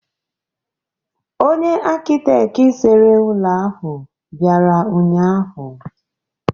Onye akịtekị sere ụlọ ahụ bịara ụnyaahụ.